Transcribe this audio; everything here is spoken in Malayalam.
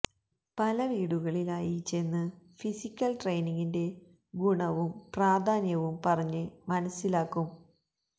പല വീടുകളിലായി ചെന്ന് ഫിസിക്കല് ട്രെയ്നിങ്ങിന്റെ ഗുണവും പ്രാധാന്യവും പറഞ്ഞ് മനസ്സിലാക്കും